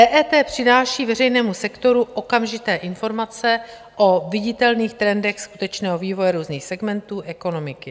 EET přináší veřejnému sektoru okamžité informace o viditelných trendech skutečného vývoje různých segmentů ekonomiky.